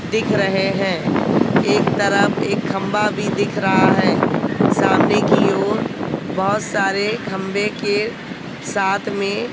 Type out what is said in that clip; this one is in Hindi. दिख रहे हैं एक तरफ एक खंभा भी दिख रहा है सामने की ओर बहोत सारे खंबे के साथ में--